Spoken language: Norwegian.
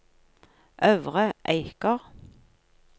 Øvre Eiker